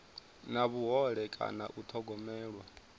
na vhuhole kana u thogomelwa